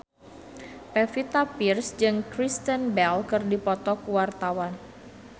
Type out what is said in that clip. Pevita Pearce jeung Kristen Bell keur dipoto ku wartawan